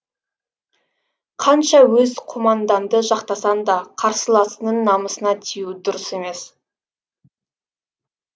қанша өз командаңды жақтасаң да қарсыласыңның намысына тию дұрыс емес